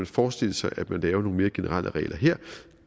forestille sig at man laver nogle mere generelle regler her